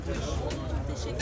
Oldu, təşəkkür edirəm.